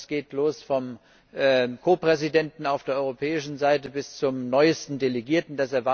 Das geht los beim Ko Präsidenten auf der europäischen Seite bis zum neuesten Delegierten.